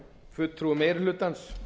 fulltrúum meiri hlutans